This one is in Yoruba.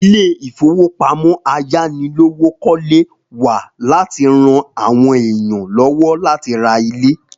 Ilé ìfowópamọ́ ayánilówókọ́lé wà láti ran àwọn èèyàn lọ́wọ́ láti ra ilé